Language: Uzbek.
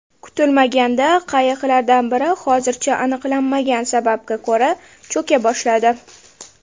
Kutilmaganda qayiqlardan biri hozircha aniqlanmagan sababga ko‘ra cho‘ka boshladi.